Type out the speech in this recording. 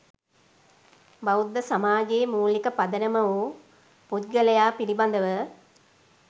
බෞද්ධ සමාජයේ මූලික පදනම වූ පුද්ගලයා පිළිබඳව